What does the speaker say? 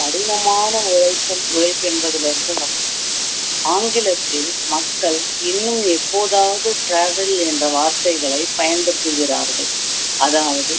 கடினமான உழைப்பு உழைப்பு என்பதிலிருந்துதான் ஆங்கிலத்தில் மக்கள் இன்னும் எப்போதாவது travel என்ற வார்த்தைகளை பயன்படுத்துகிறார்கள் அதாவது